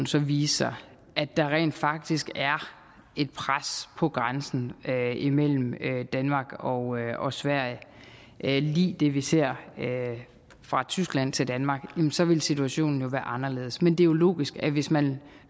så vise sig at der rent faktisk er et pres på grænsen imellem danmark og og sverige lig det vi ser fra tyskland til danmark så vil situationen jo være anderledes men det er jo logisk at man hvis man